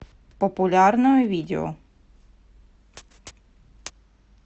популярное видео